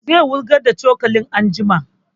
Zai wurgar da cokalin anjima